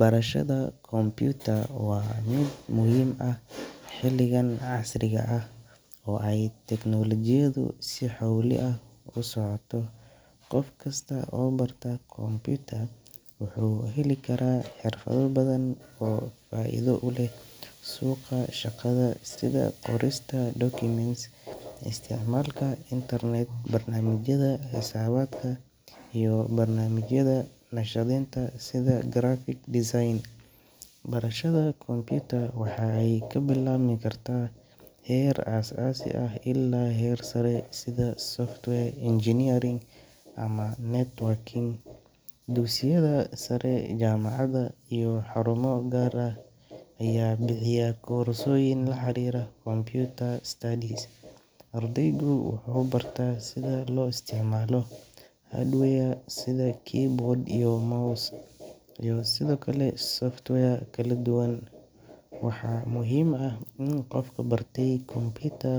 Barashada computer waa mid muhiim ah xiligan casriga ah oo ay teknolojiyadu ay si xowli ah u socoto, qofkiista oo barta computer wuxuu heli karaa xirfada badan oo faa'iido uleh suqa shaqada sida qorista documents[cs,isticmaalka intarnet, marnaamijyada xisaabadka iyo barnamijya sida naqshadeynta sida graphic design, Barashada computer waxay kabilabmi karta heer as asi ah ila heer sare sida [cs[software engineering or networking, dugsiyada sare, jamacada iyo xaruumo gaar ah aya bixiya korsoyin la xariira computer studies, ardeygu wuxuu barta sida loo isticmaalo hardware, sida [cs[keyboard and mouse, iyo sidokale software kala duban waxa muhiim ah in qofka barte computer